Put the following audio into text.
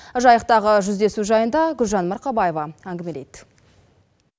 жайықтағы жүздесу жайында гүлжан марқабаева әңгімелейді